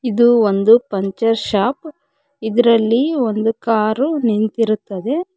ಇದು ಒಂದು puncture shop ಇದರಲ್ಲಿ ಒಂದು ಕಾರು ನಿಂತಿರುತ್ತದೆ.